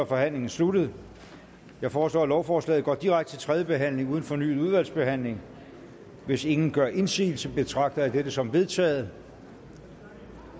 forhandlingen sluttet jeg foreslår at lovforslaget går direkte til tredje behandling uden fornyet udvalgsbehandling hvis ingen gør indsigelse betragter jeg dette som vedtaget